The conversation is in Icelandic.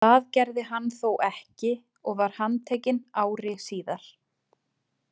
Það gerði hann þó ekki og var handtekinn ári síðar.